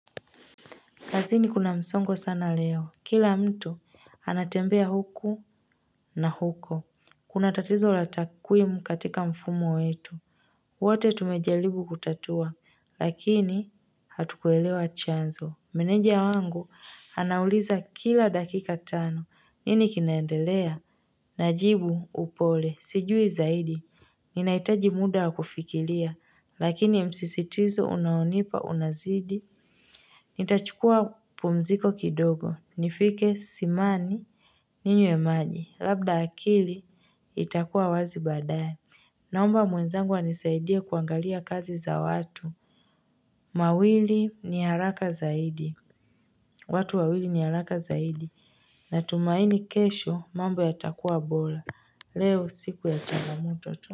Kazini kuna msongo sana leo. Kila mtu anatembea huku na huko. Kuna tatizo la takwimu katika mfumo wetu. Wote tumejaribu kutatua, lakini hatukuelewa chanzo. Meneja wangu anauliza kila dakika tano. Nini kinaendelea? Najibu upole, sijui zaidi. Ninahitaji muda wa kufikiria, lakini msisitizo unaonipa unazidi. Nitachukua pumziko kidogo. Nifike simani ninywe maji. Labda akili itakuwa wazi baadaye. Naomba mwenzangu anisaidie kuangalia kazi za watu. Mawili ni haraka zaidi. Watu wawili ni haraka zaidi. Natumaini kesho mambo yatakuwa bora. Leo siku ya changamoto tu.